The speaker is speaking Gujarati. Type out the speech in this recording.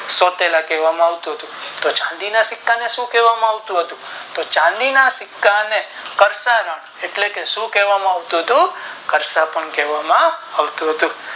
સોતેલા કહેવામાં આવતું હતું તો ચાંદી ના સિક્કા ને શું કહેવામાં આવતું હતું તો ચાંદી ના સિક્કાને કરસનાં એટલે કે શું કહેવામાં આવતું હતું કારશોતમ કહેવામાં આવતું હતુ